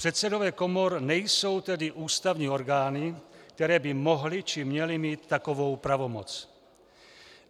Předsedové komor nejsou tedy ústavní orgány, které by mohly či měly mít takovou pravomoc.